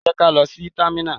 Jẹ́ kí á lọ sí támínà!